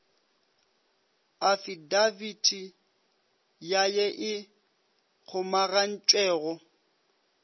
afidabiti ya ye e kgomagantšwego